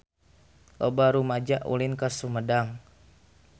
Loba rumaja ulin ka Sumedang